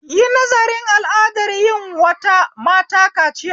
Yi nazarin al'adar yin wata mata kaciya